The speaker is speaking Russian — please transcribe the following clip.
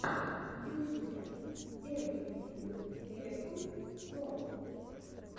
в ютюбе эврифинг эппл про